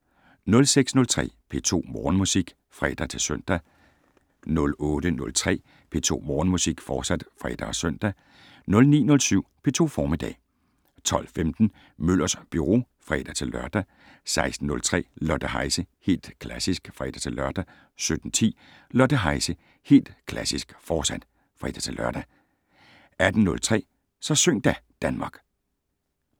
06:03: P2 Morgenmusik (fre-søn) 08:03: P2 Morgenmusik, fortsat (fre og søn) 09:07: P2 Formiddag 12:15: Møllers Byro (fre-lør) 16:03: Lotte Heise - Helt Klassisk (fre-lør) 17:10: Lotte Heise - Helt Klassisk, fortsat (fre-lør) 18:03: Så syng da, Danmark